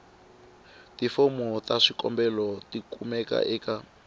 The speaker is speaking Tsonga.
tifomo ta swikombelo tikumeka eka